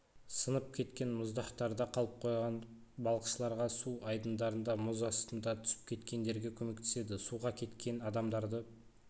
сынып кеткен мұздақтарда қалып қойған балықшыларға су айдындарында мұз астына түсіп кеткендерге көмектеседі суға кеткен адамдарды